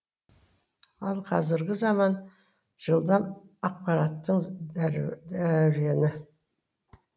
ал қазіргі заман жылдам ақпараттың дәурені